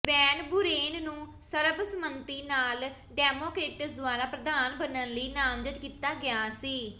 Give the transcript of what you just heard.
van Buren ਨੂੰ ਸਰਬਸੰਮਤੀ ਨਾਲ ਡੈਮੋਕਰੇਟਸ ਦੁਆਰਾ ਪ੍ਰਧਾਨ ਬਣਨ ਲਈ ਨਾਮਜ਼ਦ ਕੀਤਾ ਗਿਆ ਸੀ